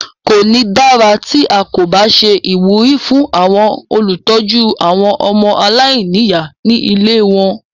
Kò ní dára tí à kò bá ṣe ìwúrí fún àwọn olùtọ́jú àwọn ọmọ aláìníyà ní ilée wọn.